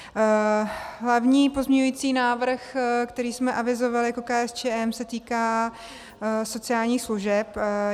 Hlavní pozměňovací návrh, který jsme avizovali jako KSČM, se týká sociálních služeb.